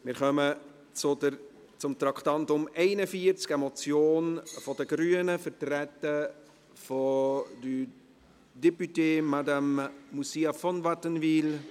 Wir kommen zum Traktandum 41, eine Motion der Grünen, vertreten durch Madame Moussia von Wattenwyl.